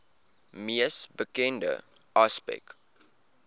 mees bekende aspek